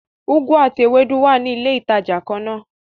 Ugwu àti Ewédú wá ní ilé ìtàjà kànnà.